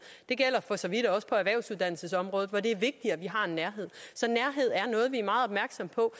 det gælder for så vidt også på erhvervsuddannelsesområdet hvor det er vigtigt at vi har en nærhed så nærhed er noget vi er meget opmærksomme på